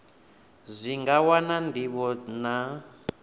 zwi nga wana ndivho na